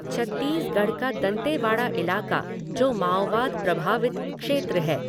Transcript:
छत्तीसगढ़ का दंतेवाड़ा इलाक़ा, जो माओवाद प्रभावित क्षेत्र है।